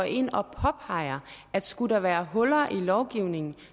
ind og påpeger at skulle der være huller i lovgivningen